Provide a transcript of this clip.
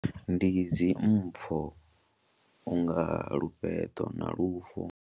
Ndi dzi mpfho u nga lufheṱo na lufo.